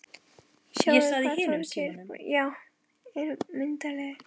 Sjáðu hvað Þorgeir boli er myndarlegur